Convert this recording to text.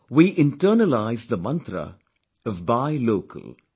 We internalized the Mantra of 'buy local'